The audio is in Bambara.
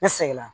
Ne seginna